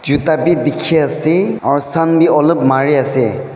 juta bhi dikhi ase aru sun bhi alop mari ase.